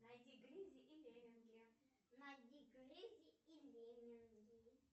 найди гризи и лемминги